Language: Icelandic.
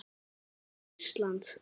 En af hverju Ísland?